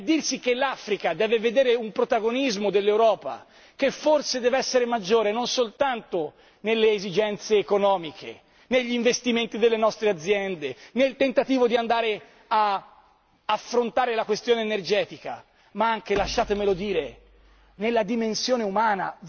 È dirsi che l'Africa deve vedere un protagonismo dell'Europa, che forse dev'essere maggiore non soltanto nelle esigenze economiche, negli investimenti delle nostre aziende, nel tentativo di andare ad affrontare la questione energetica, ma anche lasciatemelo dire nella dimensione umana.